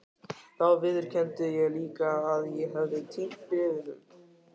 Þá viðurkenndi ég líka að ég hefði týnt bréfunum.